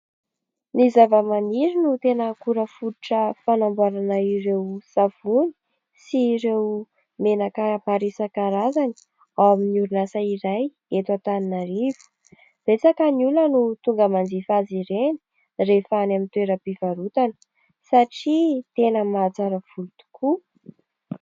Ny zavamaniry no tena akora fototra fanamboarana ireo savony sy ireo menaka maro isan-karazany, ao amin'ny orinasa iray eto Antananarivo. Betsaka ny olona no tonga manjifa azy ireny rehefa any amin'ny toeram-pivarotana satria tena mahatsara volo tokoa.